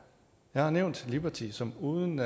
jeg har nævnt liberty som uden